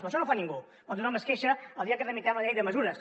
això no ho fa ningú però tothom es queixa el dia que tramitem la llei de mesures